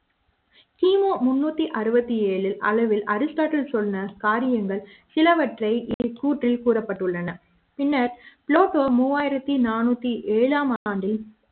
கிமு முணுத்து அறுபது ஏழு அளவில்அரிஸ்ட்டாட்டில் சொன்ன காரியங்கள் சிலவற்றைக் கூட்டில் கூறப்பட்டுள்ளன பின்னர் புளோடோ மூவாயிரத்து நானுற்றி ஏழாம் ஆண்டில்